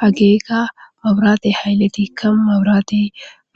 Hageykka maburaate hayleti ka maburaate